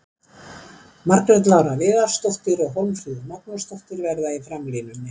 Margrét Lára Viðarsdóttir og Hólmfríður Magnúsdóttir verða í framlínunni.